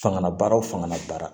Fangala baara wo fanga bara